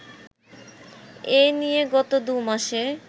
এ নিয়ে গত দু'মাসে